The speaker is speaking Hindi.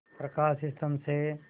प्रकाश स्तंभ से